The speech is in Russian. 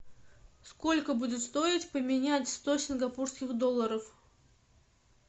сколько будет стоить поменять сто сингапурских долларов